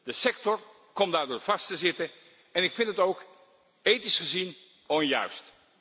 De sector komt daardoor vast te zitten, en ik vind het ook ethisch gezien onjuist.